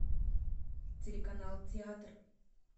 телеканал театр